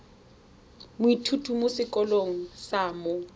moithuti mo sekolong sa mo